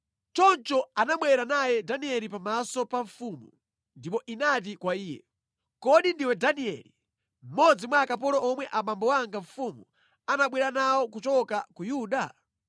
Choncho anabwera naye Danieli pamaso pa mfumu ndipo inati kwa iye, “Kodi ndiwe Danieli, mmodzi mwa akapolo omwe abambo anga mfumu anabwera nawo kuchoka ku Yuda?